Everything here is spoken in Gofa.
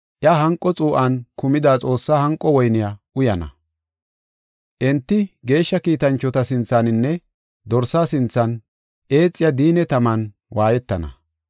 iya hanqo xuu7an kumida Xoossaa hanqo woyniya uyana. Enti geeshsha kiitanchota sinthaninne Dorsa sinthan eexiya diinne taman waayetana.